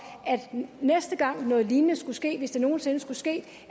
at næste gang noget lignende skulle ske hvis det nogen sinde skulle ske